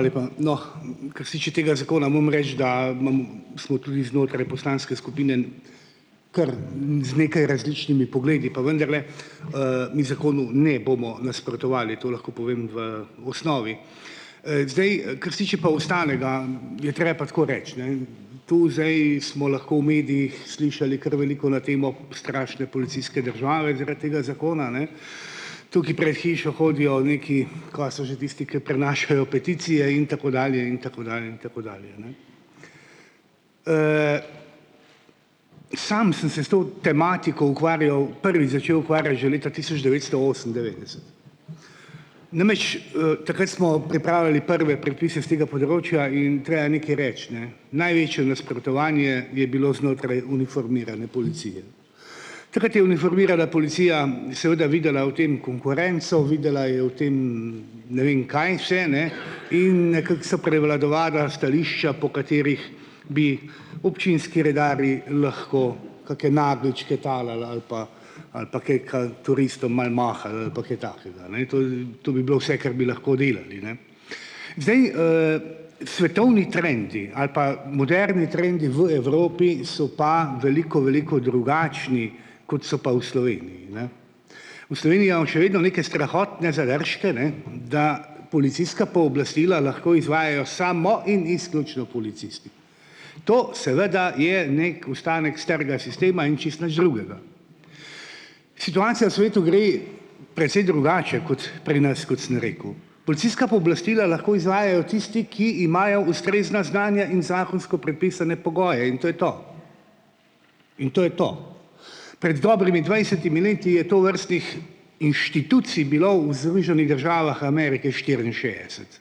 lepa! No, ke se tiče tega zakona, moram reči, da imamo samo tudi znotraj poslanske skupine ker z nekaj različnimi pogledi pa vendarle mi zakonu ne bomo nasprotovali, to lahko povem v osnovi. Zdaj, ke se tiče pa ostalega, je pa tako reči, ne. Tu zdaj smo lahko v medijih slišali kar veliko na temo strašne policijske države, zaradi tega zakona, ne, tukaj pred hišo hodijo nekaj, kaj so že tisti, ki prinašajo peticije in tako dalje in tako dalje in tako dalje, ne. Sam sem se s to tematiko ukvarjal, prvi začel ukvarjati že leta tisoč devetsto osemindevetdeset, namreč, takrat smo pripravili prve prepise s tega področja in treba nekaj reči, ne, največje nasprotovanje je bilo znotraj uniformirane policije. Takrat je uniformirana policija seveda videla v tem konkurenco, videla je v tem ne vem kaj vse, ne, in nekako so prevladovala stališča, po katerih bi občinski redarji lahko kake nageljčke talali ali pa ali pa kaj ken turistom malo mahali ali pa kaj takega. To bi bilo vse, kar bi lahko delali, ne. Zdaj, svetovni trendi ali pa moderni trendi v Evropi so pa veliko veliko drugačni, kot so pa v Sloveniji, ne. Še vedno neke strahotne zadržke, ne, da policijska pooblastila lahko izvajajo samo in izključno policisti. To seveda je neki ostanek starega sistema in čisto nič drugega. Situacija v svetu gre drugače, kot pri nas, kot sem rekel. Policijska pooblastila lahko izvajajo tisti, ki imajo ustrezna znanja in zakonsko predpisane pogoje in to je to. In to je to. Pred dobrimi dvajsetimi leti je tovrstnih inštitucij bilo v Zruženih državah Amerike štiriinšestdeset,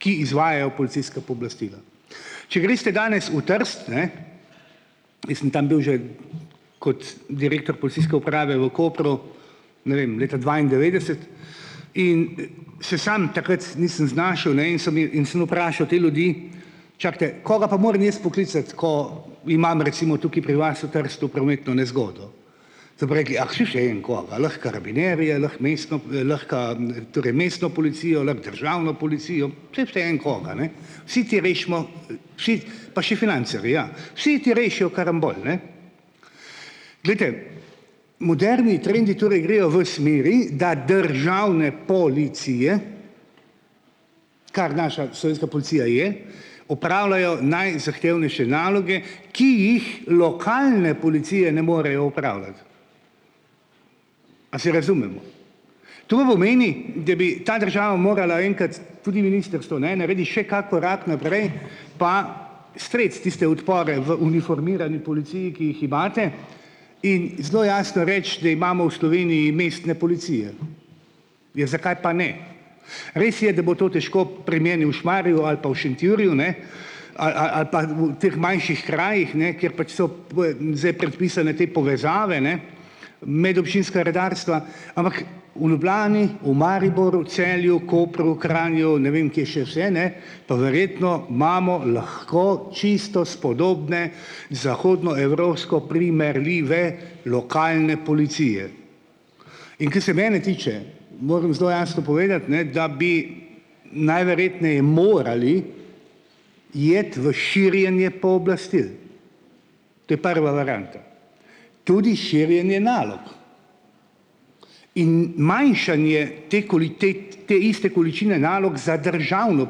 ki izvajajo policijska pooblastila. Če greste danes v Trst, ne, jaz sem tam bil že kot direktor Polcijske uprave v Kopru, ne vem, leta dvaindevetdeset in se samo takrat nisem znašel, ne, in so mi in sem vprašal te ljudi, čakajte, koga pa morem jaz poklicati, ko imam recimo tukaj pri vas v Trstu prometno nezgodo. So pa rekli, ah saj vseeno koga, lahko karabinjerje, lahko mestno, lahko, torej mestno policijo, lahko državno policijo, saj vseeno koga, ne. Vsi ti rešimo, vsi, pa še financerji, ja, vsi, ti rešijo karambol, ne. Glejte, moderni trendi torej grejo v smeri, da državne policije, kar naša slovenska policija je, opravljajo najzahtevnejše naloge, ki jih lokalne policije ne morejo opravljati. A se razumemo. Da bi ta država morala enkrat, tudi ministrstvo, ne, naredi še kak korak naprej, pa streti tiste odpore v uniformirani policiji, ki jih imate, in zelo jasno reči, da imamo v Sloveniji mestne policije. Ja zkaj pa ne. Res je, da bo to težko pri meni v Šmarju ali pa v Šentjurju, ne, teh manjših krajih, ne, kjer pač so predpisane te povezave, ne, medobčinska redarstva, ampak v Ljubljani, v Mariboru, Celju, Kopru, Kranju ne vem kje še vse, ne, pa verjetno imamo lahko čisto spodobne zahodnoevropsko primerljive lokalne policije. In ko se mene tiče, moram zelo jasno povedati, ne, da bi najverjetneje morali iti v širjenje pooblastil, to je prva varianta. Tudi širjenje nalog. In manjšanje te ta te iste količine nalog za državno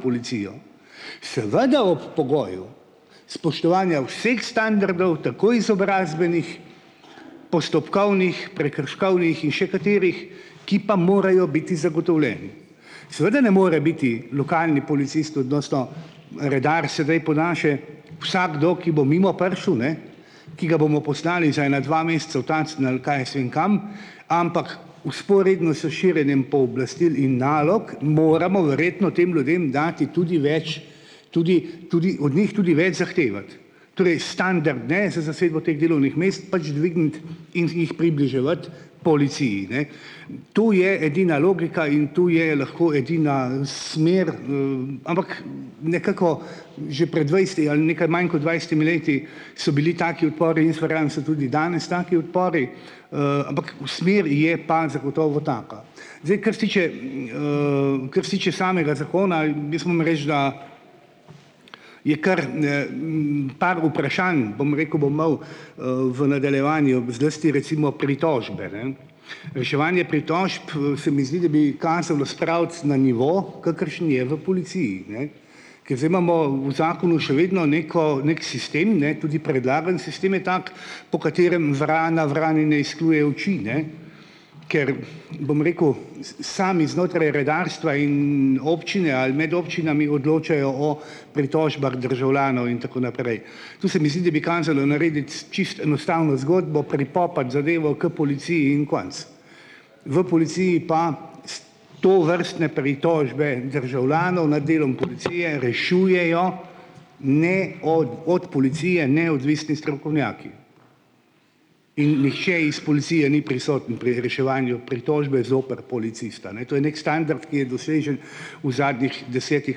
policijo, seveda ob pogoju, spoštovanja vseh standardov, tako izobrazbenih, postopkovnih, prekrškovnih in še katerih, ki pa morajo biti zagotovljeni. Seveda ne more biti lokalni policist odnosno redar sedaj po naše vsakdo, ki bo mimo prišel, ne, ki ga bomo poslali za ena dva meseca v Tacen ali kaj jaz vem kam, ampak vzporedno s širjenjem pooblastil in nalog moramo verjetno tem ljudem dati tudi več, tudi tudi od njih tudi več zahtevati. Torej, standarde za zasedbo teh delovnih mest, pač dvigniti in tiho približevati policiji, ne. To je edina logika, in tu je lahko, edina smer, ampak nekako že pred dvajseti ali nekaj manj kot dvajsetimi leti so bili taki odpori, jaz verjamem, so tudi danes taki odpori, ampak v smeri je pa zagotovo taka. Zdaj, kar se tiče samega zakona, jaz moram reči, da je kar par vprašanj, bom rekel, bo imel v nadaljevanju, zlasti recimo pritožbe, ne. Reševanje pritožb, se mi zdi, da bi kazalo spraviti na nivo, kakršen je v policiji, ne. Ke zdaj imamo v zakonu še vedno neko neki sistem, ne, tudi predlagani sistem je tak, po katerem vrana vrani ne izkljuje oči, ne, ker bom rekel sami znotraj redarstva in občine ali med občinami, odločajo o pritožbah državljanov in tako naprej. To se mi zdi, da bi kazalo narediti čisto enostavno zgodbo, pripopati zadevo k policiji in konec. V policiji pa, tovrstne pritožbe državljanov nad delom policije rešujejo ne od od policije neodvisni strokovnjaki. In nihče iz policije ni prisoten pri reševanju pritožbe zoper policista, ne, to je neki standard, ki je dosežen v zadnjih desetih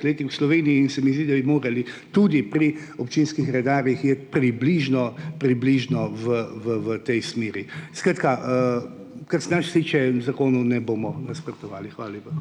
letih v Sloveniji tudi pri občinskih redarjih iti približno približno v v v tej smeri. Skratka, zakonu ne bomo nasprotovali, lepa.